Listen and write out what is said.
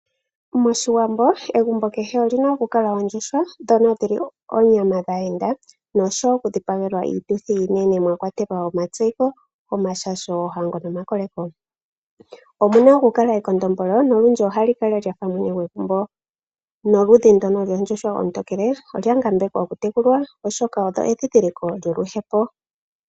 MOshiwambo egumbo kehe oli na okukala oondjuhwa ndhono dhi li oonyama dhaayenda nosho wo okudhipagelwa iituthi iinene mwa kwatelwa omatseyiko, omashasho, oohango nomakoleko. Omu na okukala ekondombolo nolundji ohali lya fa mwene gwegumbo. Noludhi ndono loondjuhwa oontokele olya ngambekwa okutekulwa, oshoka odho edhidhiliko lyoluhepo.